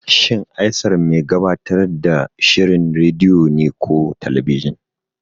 Shin Aisar mai gabatar da shirin rediyo ne ko talabijin?